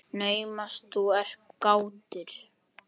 Naumast þú ert kátur.